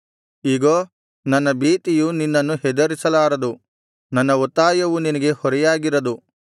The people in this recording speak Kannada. ಇಗೋ ನನ್ನ ಭೀತಿಯು ನಿನ್ನನ್ನು ಹೆದರಿಸಲಾರದು ನನ್ನ ಒತ್ತಾಯವು ನಿನಗೆ ಹೊರೆಯಾಗಿರದು